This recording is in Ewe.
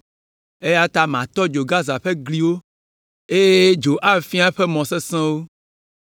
Eya ta matɔ dzo Gaza ƒe gliwo, eye dzo afia eƒe mɔ sesẽwo.